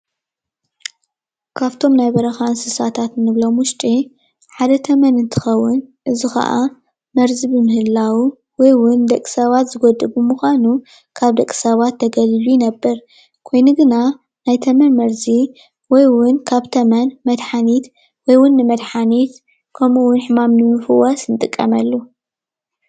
ካብቶም ናይ በረካ እንስሳታት እንብሎም ውሽጢ ሓደ ተመን እንትከውን እዚ ከዓ መርዚ ብምህላዉ ወይ ዉ ን ደቂ ሰባት ዝጎድእ ብምኳኑ ካብ ደቂ ሰባት ተገሊሉ ይነብር ኮይኑ ግና ናይ ተመን መርዚ ወይ ዉን ካብ ተመን መድሓኒት ወ ይ ውን ንመድሓኒት ከም ንቡር ሕማም ንምፍዋስ ንጥቀመሉ፡፡